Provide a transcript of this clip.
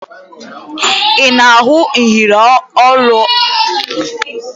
Ị na-ahụ iyeri olu o yi?